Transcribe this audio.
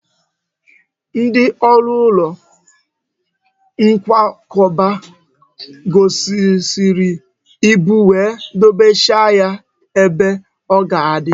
Ndị ọrụ ụlọ nkwakọba ghọsịrịrị ibu wee dọbachaa ya ebe o ga-adị